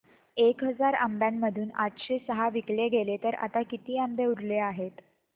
एक हजार आंब्यांमधून आठशे सहा विकले गेले तर आता किती आंबे उरले आहेत